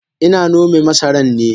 Ina nome masaran ne.